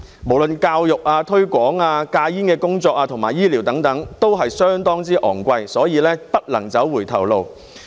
不論教育、推廣、戒煙工作和醫療等均相當昂貴，所以不能走回頭路。